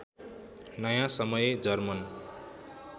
नयाँ समय जर्मन